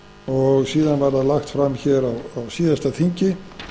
og síðan var það lagt fram á síðasta þingi